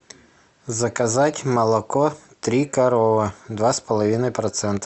заказать молоко три коровы два с половиной процента